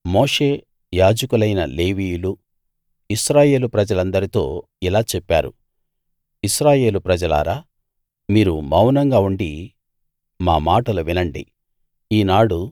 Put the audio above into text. మోషే యాజకులైన లేవీయులూ ఇశ్రాయేలు ప్రజలందరితో ఇలా చెప్పారు ఇశ్రాయేలు ప్రజలారా మీరు మౌనంగా ఉండి మా మాటలు వినండి